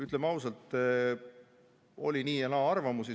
Ütleme ausalt, oli nii ja naa arvamusi.